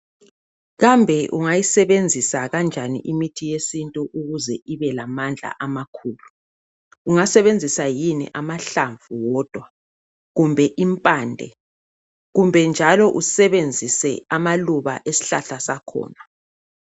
Kambe ungayisebenzisi kanjani imithi yesintu ukuze ibelamandla amakhulu. Ungasebenzisa yini amahlamvu wodwa kumbe impande Kumbe njalo usebenzise amaluba esihlahla sakhona.